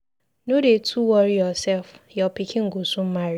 No dey too worry yourself. Your pikin go soon marry.